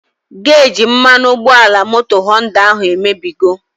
Geji mmanụ ụgbọala moto Họnda ahụ emebigo